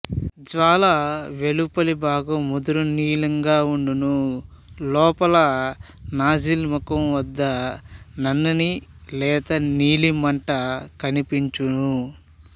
జ్వాల వెలుపలి భాగం ముదురు నీలంగా వుండును లోపల నాజిల్ ముఖంవద్ద నన్నని లేతనీలిమంట కనిపించును